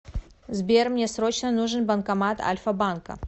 сбер мне срочно нужен банкомат альфа банка